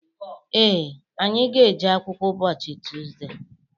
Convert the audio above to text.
Ee, anyị ga-eje akwụkwọ ụbọchị Tuzde.